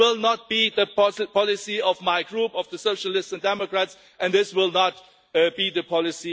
This will not be the policy of my group, the Socialists and Democrats, and this will not be the policy of the European Parliament, dear friends.